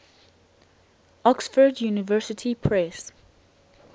oxford university press